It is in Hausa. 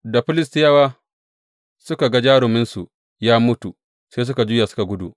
Da Filistiyawa suka ga jaruminsu ya mutu, sai suka juya suka gudu.